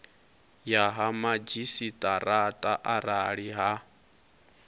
ya ha madzhisiṱaraṱa arali ha